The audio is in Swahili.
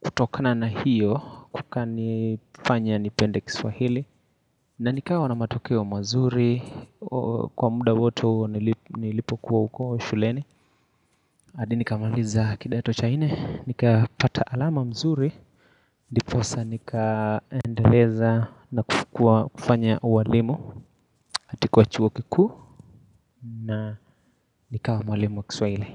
kutokana na hiyo kukanifanya nipende kiswahili na nikawa na matokeo mazuri kwa muda woto nilipokuwa huko shuleni hadi nikamaliza kidato cha nne, nikapata alama mzuri Ndiposa nikaendeleza na kufanya uwalimu katika chuo kikuu na nikawa mwalimu wa kiswahili.